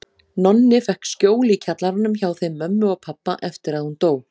Nonni fékk skjól í kjallaranum hjá þeim mömmu og pabba eftir að hún dó.